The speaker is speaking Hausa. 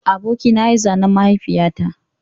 Abokina ya yi zanen mahaifiyata